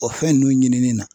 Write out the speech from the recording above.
O fɛn nun ɲinini na.